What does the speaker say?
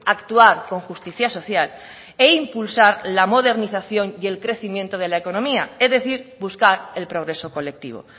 actuar con justicia social e impulsar la modernización y el crecimiento de la economía es decir buscar el progreso colectivo